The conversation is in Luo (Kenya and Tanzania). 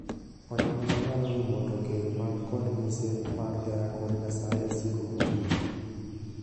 Onyongla nyalo rumo to keny man kod mise mar hera kod Nyasaye siko kochung'.